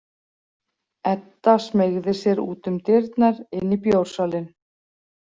Edda smeygði sér út um dyrnar inn í bjórsalinn.